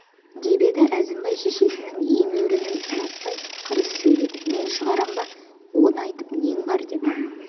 деп еді әзімбай шешесінің емеурінін ұнатпай қырыс сөйледі мен шығарам ба оны айтып нең бар деп